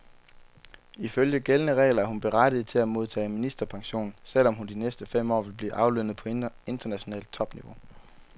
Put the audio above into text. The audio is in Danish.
Ifølge gældende regler er hun berettiget til at modtage ministerpension, selv om hun de næste fem år vil blive aflønnet på internationalt topniveau.